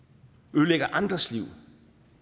ødelægger andres liv